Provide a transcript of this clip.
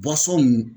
nin